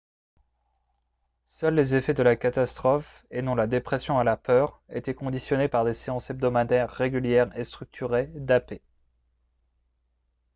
seuls les effets de la catastrophe et non la dépression et la peur étaient conditionnés par des séances hebdomadaires régulières et structurées d'ap